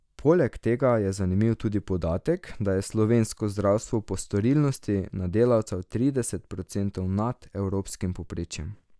Poleg tega je zanimiv tudi podatek, da je slovensko zdravstvo po storilnosti na delavca trideset procentov nad evropskim povprečjem.